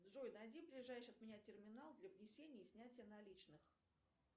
джой найди ближайший от меня терминал для внесения и снятия наличных